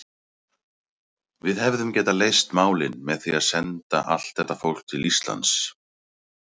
Við hefðum getað leyst málin með því að senda allt þetta fólk til Íslands.